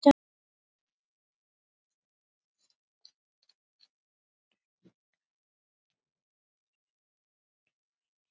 Það voru þeir